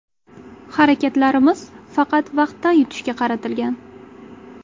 Harakatlarimiz faqat vaqtdan yutishga qaratilgan.